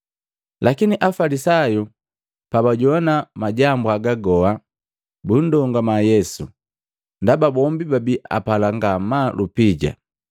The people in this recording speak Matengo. Lakini Afalisayu pabajowana majambu haga goha, bundongama Yesu, ndaba bombi babi apala ngamaa lupija.